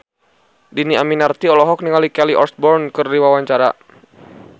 Dhini Aminarti olohok ningali Kelly Osbourne keur diwawancara